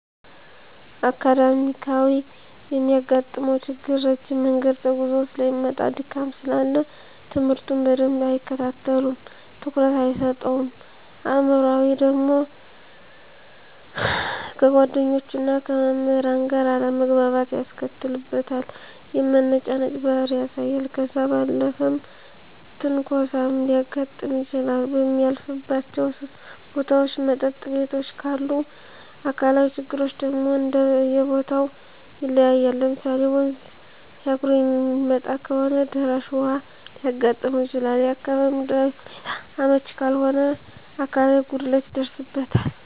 አካዳሚካያዊ የሚያጋጥመው ችግር ረጅም መንገድ ተጉዞ ሰለሚመጣ ድካም ስላለ ትምህርቱን በደንብ አይከታተለውም ትኩረት አይሰጠውም። አእምሯዊ ደግሞ ከጓደኞቹና ከመምህራን ጋር አለመግባባት ያስከትልበታል የመነጫነጭ ባህሪ ያሳያል። ከዛ ባለፈም ትንኮሳም ሊያጋጥም ይችላል በሚያልፍባቸው ቦታዎች መጠጥ ቤቶችም ካሉ። አካላዊ ችግሮች ደግሞ እንደየቦተው ይለያያል ለምሳሌ ወንዝ ተሻግሮ የሚመጣ ከሆነ ደራሽ ውሀ ሊያጋጥመው ይችላል፣ የአካባቢው ምድራዊ ሁኔታው አመች ካልሆነ አካላዊ ጉድለት ይደርስበታል።